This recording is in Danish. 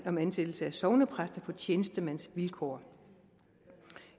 om ansættelse af sognepræster på tjenestemandsvilkår